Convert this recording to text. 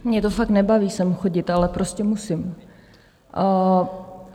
Mě to fakt nebaví sem chodit, ale prostě musím.